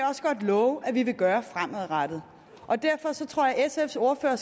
også godt love at vi vil gøre fremadrettet derfor tror jeg at sfs ordfører